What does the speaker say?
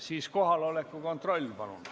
Siis palun kohaloleku kontroll!